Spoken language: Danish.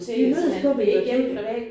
Vi mødes på biblioteket